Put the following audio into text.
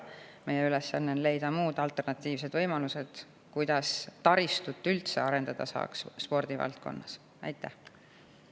Meie ülesanne on leida alternatiivsed võimalused, kuidas saaks spordivaldkonnas taristut üldse arendada.